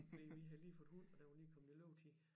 Fordi vi havde lige fået hund og den var lige kommet i løbetid